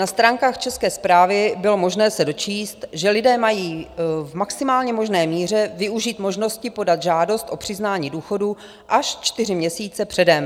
Na stránkách České správy bylo možné se dočíst, že lidé mají v maximálně možné míře využít možnosti podat žádost o přiznání důchodu až čtyři měsíce předem.